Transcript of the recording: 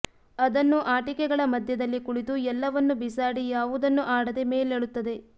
ಅದನ್ನು ಆಟಿಕೆಗಳ ಮಧ್ಯದಲ್ಲಿ ಕುಳಿತು ಎಲ್ಲವನ್ನೂ ಬಿಸಾಡಿ ಯಾವುದನ್ನೂ ಆಡದೇ ಮೇಲೇಳುತ್ತದೆ